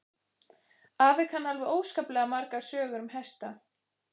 Afi kann alveg óskaplega margar sögur um hesta.